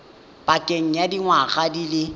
pakeng ya dingwaga di le